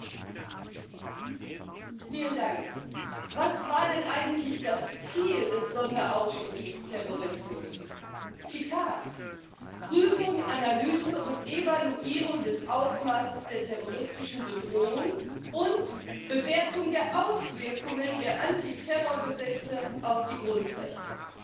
Frau Präsidentin! Was war denn eigentlich das Ziel des Sonderausschusses Terrorismus? Zitat Prüfung, Analyse und Evaluierung des Ausmaßes der terroristischen Bedrohung und Bewertung der Auswirkungen der Antiterrorgesetze auf die Grundrechte.